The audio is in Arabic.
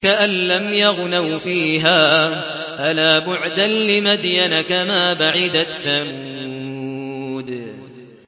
كَأَن لَّمْ يَغْنَوْا فِيهَا ۗ أَلَا بُعْدًا لِّمَدْيَنَ كَمَا بَعِدَتْ ثَمُودُ